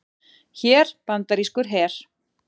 Hér bandarískur her.